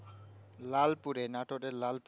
লালপুরে নাতদের লালপুরে